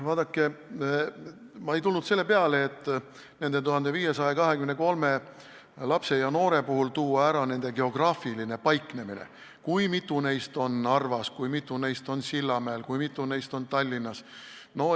Vaadake, ma ei tulnud selle peale, et nende 1523 lapse ja noore puhul tuua esile nende geograafiline paiknemine: kui mitu neist on Narvas, kui mitu neist on Sillamäel, kui mitu neist on Tallinnas.